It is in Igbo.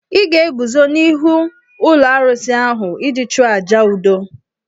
Ị ga-eguzo n'ihu ụlọ alụsị ahụ iji chụọ àjà udo.